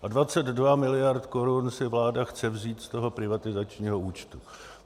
A 22 mld. korun si vláda chce vzít z toho privatizačního účtu.